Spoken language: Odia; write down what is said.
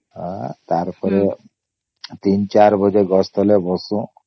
ଆଃ ତାର ପରେ ୩୪ ବାଜେ ଗଛ ତଳେ ବସୁ